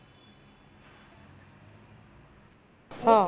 हम्म